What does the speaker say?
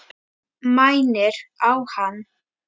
Mænir á hann.